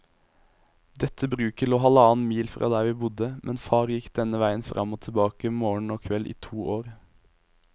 Dette bruket lå halvannen mil fra der vi bodde, men far gikk denne veien fram og tilbake morgen og kveld i to år.